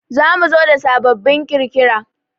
Za mu zo da sababbin kirkira